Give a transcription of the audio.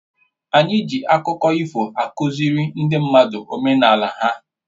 Ana eji akụkọ ifo akụziri ndị mmadụ omenala ha